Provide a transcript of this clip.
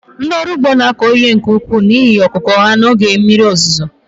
ndị ọrụ ugbo na-akọ ihe ka ukwuu n'ihe ọkụkụ ha n'oge mmiri ozuzo